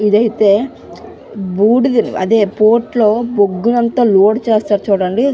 ఇది అయితే బూడిద అదే పోర్ట్ లో లోడ్ చేస్తారు చూడండి --